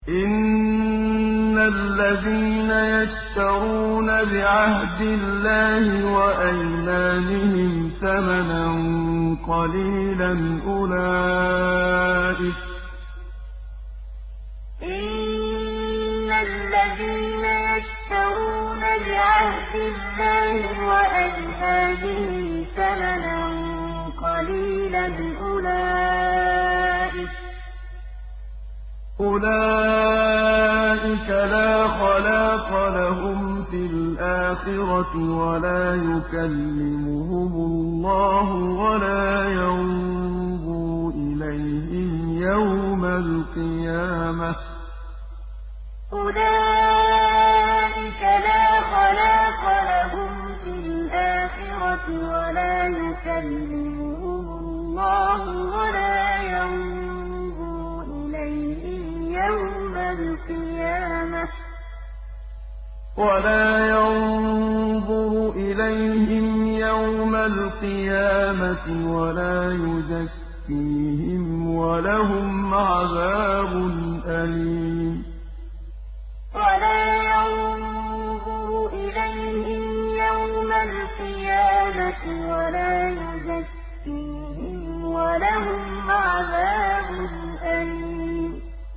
إِنَّ الَّذِينَ يَشْتَرُونَ بِعَهْدِ اللَّهِ وَأَيْمَانِهِمْ ثَمَنًا قَلِيلًا أُولَٰئِكَ لَا خَلَاقَ لَهُمْ فِي الْآخِرَةِ وَلَا يُكَلِّمُهُمُ اللَّهُ وَلَا يَنظُرُ إِلَيْهِمْ يَوْمَ الْقِيَامَةِ وَلَا يُزَكِّيهِمْ وَلَهُمْ عَذَابٌ أَلِيمٌ إِنَّ الَّذِينَ يَشْتَرُونَ بِعَهْدِ اللَّهِ وَأَيْمَانِهِمْ ثَمَنًا قَلِيلًا أُولَٰئِكَ لَا خَلَاقَ لَهُمْ فِي الْآخِرَةِ وَلَا يُكَلِّمُهُمُ اللَّهُ وَلَا يَنظُرُ إِلَيْهِمْ يَوْمَ الْقِيَامَةِ وَلَا يُزَكِّيهِمْ وَلَهُمْ عَذَابٌ أَلِيمٌ